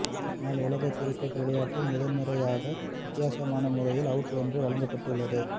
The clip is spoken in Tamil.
ஆனால் உலக கிரிக்கெட் விளையாட்டில் முதல்முறையாக வித்தியாசமான முறையில் அவுட் ஒன்று வழங்கப்பட்டுள்ளது